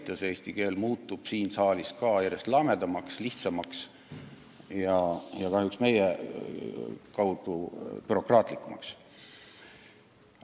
Ja eesti keel muutub siin saalis ka järjest lamedamaks, lihtsamaks ja kahjuks meie endi kaudu bürokraatlikumaks.